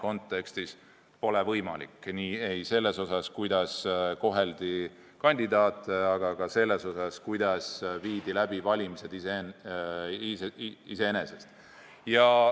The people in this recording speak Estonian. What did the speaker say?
Seda ei selles osas, kuidas koheldi kandidaate, ega ka selles osas, kuidas valimised läbi viidi.